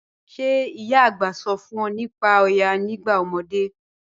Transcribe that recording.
Ṣẹ̀ ìyá ạ̀gbá sọ̀ fún ọ̀ nípá Òyá nígbà ọmọdé?